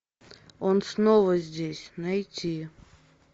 он снова здесь найти